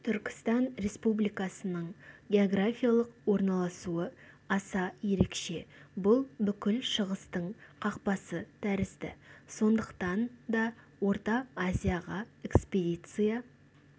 түркістан республикасының географиялық орналасуы аса ерекше бұл бүкіл шығыстың қақпасы тәрізді сондықтан да орта азияға экспедиция